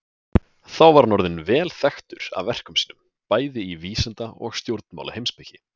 Þá var hann orðinn vel þekktur af verkum sínum, bæði í vísinda- og stjórnmálaheimspeki.